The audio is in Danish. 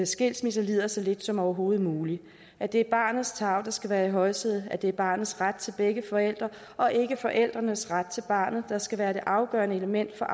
skilsmisse lider så lidt som overhovedet muligt at det er barnets tarv der skal være i højsædet at det er barnets ret til begge forældre og ikke forældrenes ret til barnet der skal være det afgørende element for